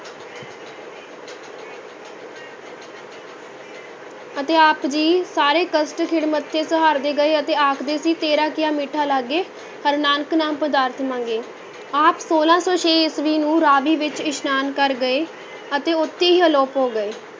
ਅਤੇ ਆਪ ਜੀ ਸਾਰੇ ਕਸ਼ਟ ਖਿੜੇ ਮੱਥੇ ਸਹਾਰਦੇ ਗਏ ਅਤੇ ਆਖਦੇ ਸੀ ਤੇਰਾ ਕੀਆ ਮੀਠਾ ਲਾਗੇ, ਹਰਿ ਨਾਨਕ ਨਾਮ ਪਦਾਰਥ ਮਾਂਗੈ, ਆਪ ਛੋਲਾਂ ਸੌ ਛੇ ਈਸਵੀ ਨੂੰ ਰਾਵੀ ਵਿੱਚ ਇਸ਼ਨਾਨ ਕਰ ਗਏ ਅਤੇ ਉੱਥੇ ਹੀ ਅਲੋਪ ਹੋ ਗਏ।